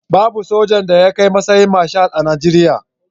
Babu sojan da ya kai matsayin Marshal a Najeriya.